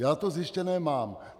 Já to zjištěné mám.